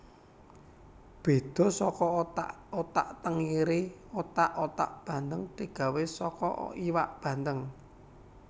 Beda saka otak otak tengiri otak otak bandheng digawé saka iwak bandheng